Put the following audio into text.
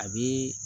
A bi